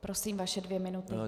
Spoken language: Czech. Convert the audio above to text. Prosím, vaše dvě minuty.